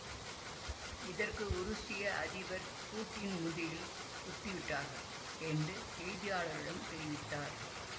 இதற்கு உருசிய அதிபர் பூட்டின் முதுகில் குத்திவிட்டார்கள் என்று செய்தியாளரிடம் தெரிவித்தார்